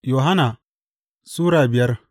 Yohanna Sura biyar